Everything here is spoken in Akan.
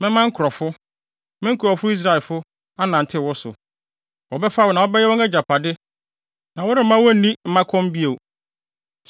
Mɛma nkurɔfo, me nkurɔfo Israelfo, anantew wo so. Wɔbɛfa wo na wobɛyɛ wɔn agyapade na woremma wonni mmakɔm bio.